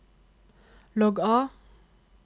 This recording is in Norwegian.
logg av